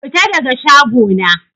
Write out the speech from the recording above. Fita daga shago na!